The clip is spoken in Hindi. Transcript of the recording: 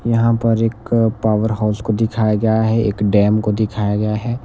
यहां पर एक पावर हाउस को दिखाया गया है एक डैम को दिखाया गया है.